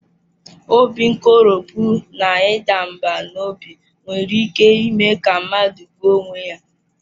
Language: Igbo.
Obi nkoropụ na ịda mbà n'obi nwere ike ime ka mmadụ gbuo onwe ya.